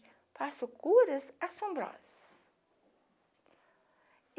Faço curas assombrosas.